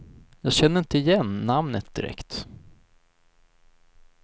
Jag känner inte igen namnet direkt.